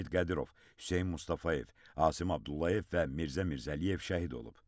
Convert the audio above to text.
Amid Qədirov, Hüseyn Mustafayev, Asim Abdullayev və Mirzə Mirzəliyev şəhid olub.